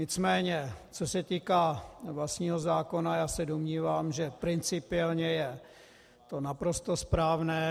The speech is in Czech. Nicméně co se týká vlastního zákona, já se domnívám, že principiálně je to naprosto správné.